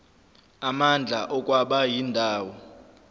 amandla okwaba indawo